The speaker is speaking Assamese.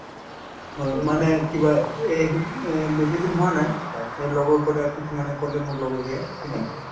হয় মানে কিবা এ এই বেছিদিন হোৱা নাই লগৰ কিছুমানে কলে মোৰ লগৰীয়া খিনি